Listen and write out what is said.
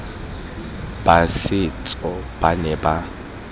ba setso ba ne ba